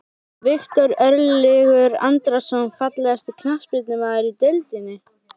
Viktor Örlygur Andrason Fallegasti knattspyrnumaðurinn í deildinni?